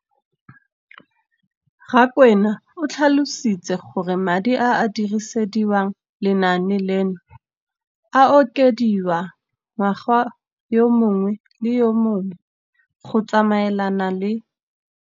Rakwena o tlhalositse gore madi a a dirisediwang lenaane leno a okediwa ngwaga yo mongwe le yo mongwe go tsamaelana le.